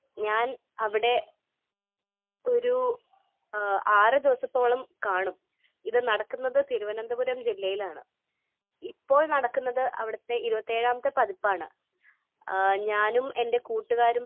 Speaker 1 ഞാൻ അവിടെ ഒരു ആറ് ദിവസത്തോളം കാണും . ഇത് നടക്കുന്നത് തിരുവനന്തപുരം ജില്ലയിലാണ് . ഇപ്പോള് നടക്കുന്നത് അവിടത്തെ ഇരുപത്തി ഏഴാമത്തെ പതിപ്പാണ് .ഞാനും എന്റെ കൂട്ടുകാരും